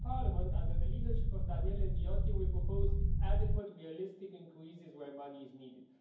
The Parliament, under the leadership of Daniele Viotti, will propose adequate, realistic increases where money is needed